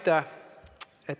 Aitäh!